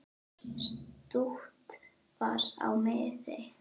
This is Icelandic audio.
Stutt var á miðin.